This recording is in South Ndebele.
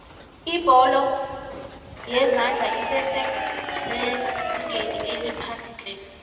ibholo yezandla esese sezingeni eliphasiitle